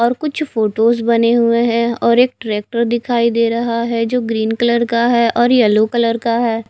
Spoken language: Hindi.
और कुछ फोटोज बने हुए हैं और एक ट्रैक्टर दिखाई दे रहा है जो ग्रीन कलर का है और येलो कलर का है।